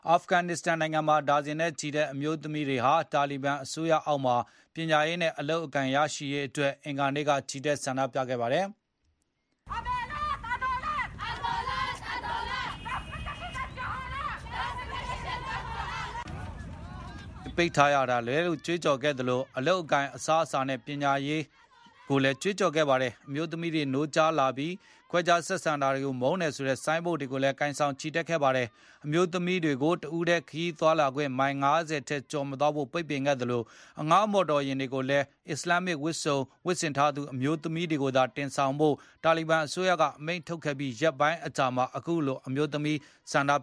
အာဖဂန်နစ္စတန်နိုင်ငံမှာ ဒါဇင်နဲ့ချီတဲ့အမျိုးသမီးတွေဟာ တာလီဘန်အစိုးရအောက်မှာ ပညာရေးနဲ့ အလုပ်အကိုင်ရရှိရေးအတွက် အင်္ဂါနေ့က ချီတက်ဆန္ဒပြခဲ့ကြပါတယ်။ အမျိုးသမီးတွေဟာ ဘာကြောင့်ကျောင်းတွေပိတ်ထားရတာလဲလို့ကြွေးကြော်ခဲ့သလို၊ အလုပ်အကိုင်အစားအစာနဲ့ပညာရေး လို့လည်းကြွေးကြော်ခဲ့ပါတယ်။ အမျိုးသမီးတွေနိုးကြားလာပြီ၊ ခွဲခြားဆက်ဆံရေးတွေကိုမုန်းတယ်ဆိုတဲ့ ဆိုင်းဘုတ်တွေကို လည်းကိုင်ဆောင်ချီတက်ခဲ့ပါတယ်။ အမျိုးသမီးတွေကို တဦးထဲခရီးသွားလာခွင့်ကို မိုင် ၅၀ ထက်ကျော်မသွားဖို့ ပိတ်ပင်ခဲ့သလို၊ အငှားမော်တော်ယဉ်တွေကိုလည်း အစ္စလမ်းမစ်ဝတ်စုံဝတ်ဆင်ထားသူ အမျိုးသမီတွေကိုသာတင်ဆောင်ဖို့ တာလီဘန်အစိုးရက အမိန့်ထုတ်ပြန်ခဲ့ပြီး ရက်ပိုင်း အကြာမှာပဲ အမျိုးသမီးတွေ ဆန္ဒပ